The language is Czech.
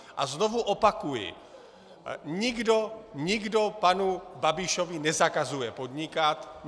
A znovu opakuji, nikdo panu Babišovi nezakazuje podnikat.